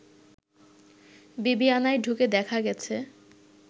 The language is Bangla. বিবিআনায় ঢুকে দেখা গেছে